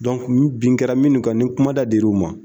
bin kɛra minnu kan ni kumada dir'u ma